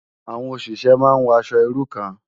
Awòn óṣiṣè má n wò aṣò irú kàn